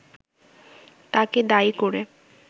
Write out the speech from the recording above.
তাকে দায়ী করে